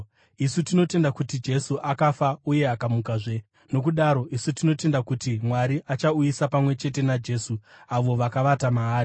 Isu tinotenda kuti Jesu akafa uye akamukazve, nokudaro isu tinotenda kuti Mwari achauyisa pamwe chete naJesu avo vakavata maari.